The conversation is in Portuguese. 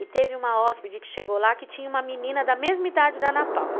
E teve uma hóspede que chegou lá que tinha uma menina da mesma idade da Ana Paula.